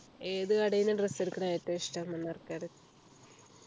ഏത് കടയിൽ നിന്ന് dress എടുക്കുന്നത് ഏറ്റവും ഇഷ്ടം